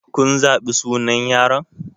Kun zaɓi sunan yaron?